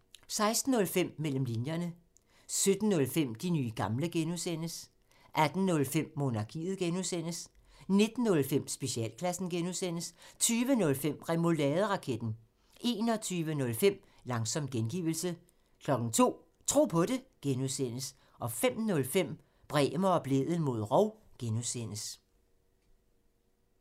16:05: Mellem linjerne 17:05: De nye gamle (G) 18:05: Monarkiet (G) 19:05: Specialklassen (G) 20:05: Remouladeraketten 21:05: Langsom gengivelse 02:00: Tro på det (G) 05:05: Bremer og Blædel mod rov (G)